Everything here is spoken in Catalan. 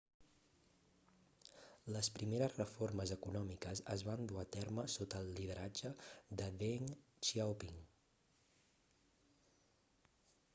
les primeres reformes econòmiques es van dur a terme sota el lideratge de deng xiaoping